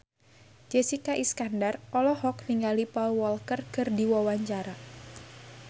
Jessica Iskandar olohok ningali Paul Walker keur diwawancara